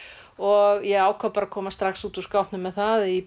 og ég ákvað bara að koma strax út úr skápnum með það í